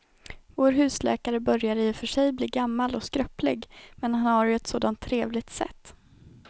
Vår husläkare börjar i och för sig bli gammal och skröplig, men han har ju ett sådant trevligt sätt!